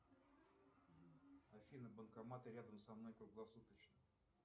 афина банкоматы рядом со мной круглосуточно